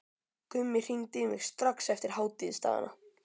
Gummi hringdi í mig strax eftir hátíðisdagana.